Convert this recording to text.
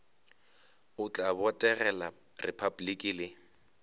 o tla botegela repabliki le